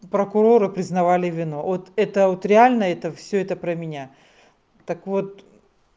прокуроры признавали вину вот это вот реально это всё это про меня так вот